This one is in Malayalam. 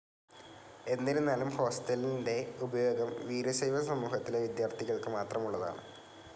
എന്നിരുന്നാലും ഹോസ്റ്റലിൻ്റെ ഉപയോഗം വീരശൈവ സമൂഹത്തിലെ വിദ്യാർഥികൾക്ക് മാത്രമുള്ളതാണ്.